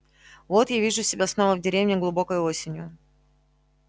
вот я вижу себя снова в деревне глубокой осенью